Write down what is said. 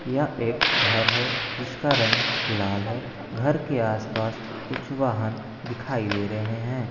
यह एक घर है जिसका रंग लाल है घर के आस-पास कुछ वाहन दिखाई दे रहे हैं।